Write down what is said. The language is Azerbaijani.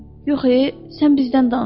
Yox, e, sən bizdən danış.